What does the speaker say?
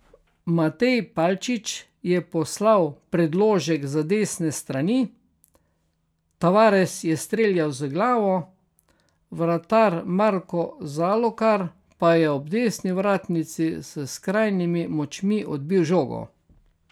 Matej Palčič je poslal predložek z desne strani, Tavares je streljal z glavo, vratar Marko Zalokar pa je ob desni vratnici s skrajnimi močmi odbil žogo.